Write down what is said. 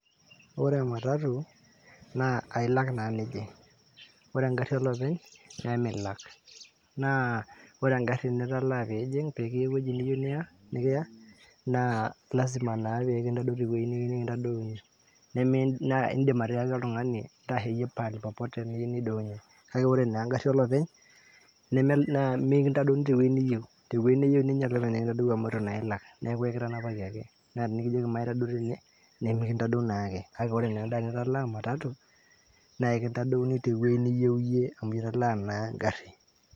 ore ematatu naa ailak naa nijing, ore engarri olopeny nemilak naa ore engarri nitalaa piijing pekiya ewueji niyieu nikiya naa lazima naa pekintadou tewueji niyieu nikintadouni neme, indim atiaki oltung'ani intasheyie pahali popote niyieu nidounyie kake ore naa engarri olopeny naa mikintadouni tewueji niyieu tewueji neyieu ninye kintadou amu itu naa ilak neeku ekitanapaki ake naa tinikijoki maitadou tene nemikintadou naake kake ore naa enda nitalaa ematatu naa ekintadouni tewueji niyieu iyie amu italaa naa engarri.